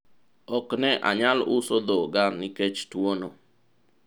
ok ne anyal uso dhoga nikech tuwono